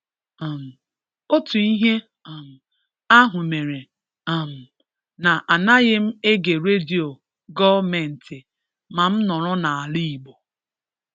um otu ihe um ahụ mere um na - anaghị m ege radio gọọmentị ma m nọrọ na ala-igbo.